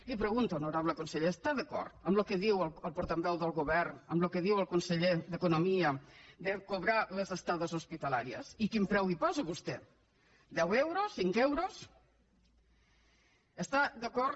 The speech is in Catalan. li pregunto honorable conseller està d’acord amb el que diu el portaveu del govern amb el que diu el conseller d’economia de cobrar les estades hospitalàries i quin preu hi posa vostè deu euros cinc euros està d’acord